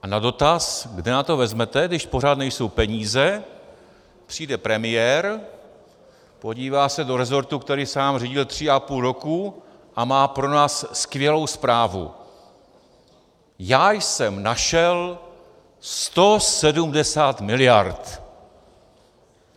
A na dotaz, kde na to vezmete, když pořád nejsou peníze, přijde premiér, podívá se do resortu, který sám řídil tři a půl roku, a má pro nás skvělou zprávu: Já jsem našel 170 miliard.